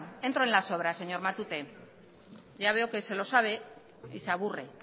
entro en las obras señor matute ya veo que se lo sabe y se aburre